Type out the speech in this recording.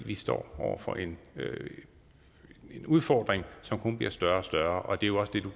vi står over for en udfordring som kun bliver større og større og det er jo også det